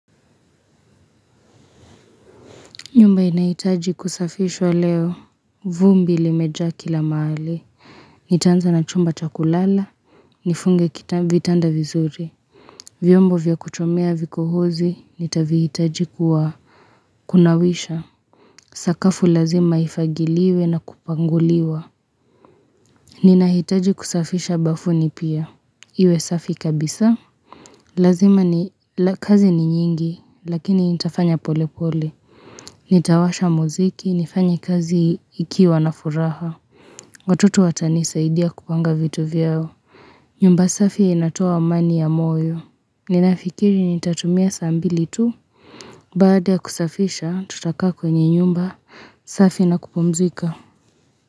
Nyumba inahitaji kusafishwa leo, vumbi limejaa kila mahali, nitaanza na chumba cha kulala, nifunge vitanda vizuri, vyombo vya kuchomea vikohozi, nitavihitaji kuwa kunawisha, sakafu lazima ifagiliwe na kupanguliwa, ninahitaji kusafisha bafuni pia, iwe safi kabisa, Lazima ni kazi ni nyingi, lakini nitafanya polepole. Nitawasha mziki, nifanye kazi nikiwa na furaha. Watoto watanisaidia kupanga vitu vyao. Nyumba safi inatoa amani ya moyo. Ninafikiri nitatumia saa mbili tu. Baada ya kusafisha, tutakaa kwenye nyumba safi na kupumzika.